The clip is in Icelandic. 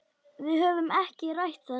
Við höfum ekki rætt þetta.